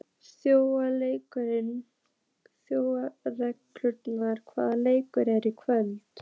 Þjóðrekur, hvaða leikir eru í kvöld?